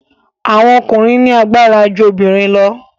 Àwọn ọkùnrin ní agbára ju obìrin lọ.